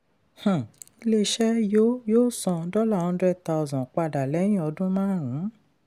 um ilé-iṣẹ yóò yóò san dollar hundred thousand padà lẹ́yìn ọdún márùn-ún.